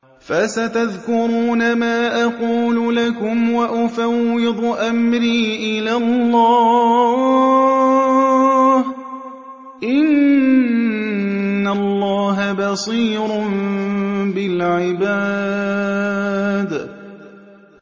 فَسَتَذْكُرُونَ مَا أَقُولُ لَكُمْ ۚ وَأُفَوِّضُ أَمْرِي إِلَى اللَّهِ ۚ إِنَّ اللَّهَ بَصِيرٌ بِالْعِبَادِ